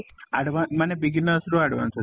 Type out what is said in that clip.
advance ମାନେ beginners ରୁ advance ଅଛି